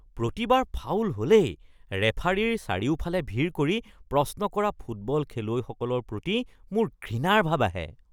প্ৰতিবাৰ foul হ’লেই ৰেফাৰীৰ চাৰিওফালে ভিৰ কৰি প্ৰশ্ন কৰা ফুটবল খেলুৱৈসকলৰ প্ৰতি মোৰ ঘৃণাৰ ভাৱ আহে৷